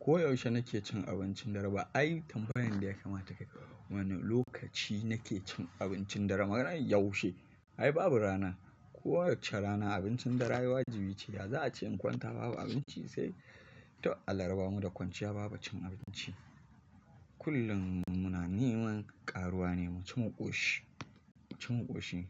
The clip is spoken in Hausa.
Ko yaushe nake cin abincin dare ba ai kamfanin da ya kamata ka yi. Wane lokaci na ke cin abincin dare? Kwarai yewshe? Ai babu rana kowacce rana abincin dare ai wajibice yaza'ace in kwanta babu abinci sai ta alarba mu da kwanciya babu cin abinci. Kullum muna neman karuwa ne mu ci maƙoshi, mu ci maƙoshi.